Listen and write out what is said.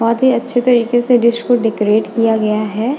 बहुत ही अच्छे तरीके से डिश को डेकोरेट किया गया है।